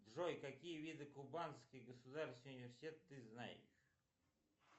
джой какие виды кубанский государственный университет ты знаешь